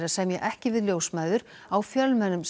að semja ekki við ljósmæður á fjölmennum